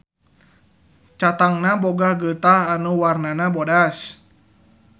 Catangna boga geutah anu warnana bodas.